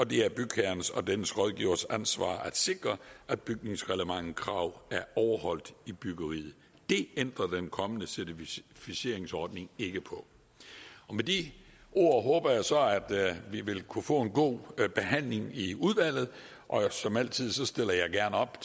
det er bygherrens og dennes rådgiveres ansvar at sikre at bygningsreglementets krav er overholdt i byggeriet det ændrer den kommende certificeringsordning ikke på med de ord håber jeg så at vi vil kunne få en god behandling i udvalget og som altid stiller jeg gerne op